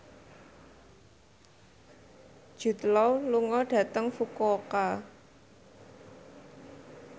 Jude Law lunga dhateng Fukuoka